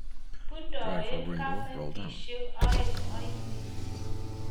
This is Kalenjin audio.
bundoen keimeteswek oeng' oine